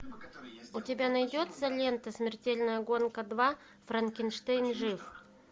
у тебя найдется лента смертельная гонка два франкенштейн жив